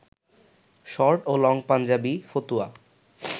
short ও long Punjabi, ফতুয়া